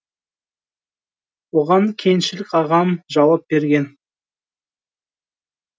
оған кеңшілік ағам жауап берген